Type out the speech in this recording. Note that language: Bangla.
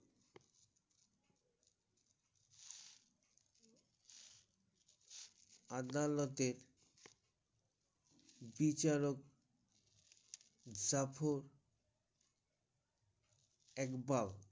আদালতে বিচারক জাফর ইকবাল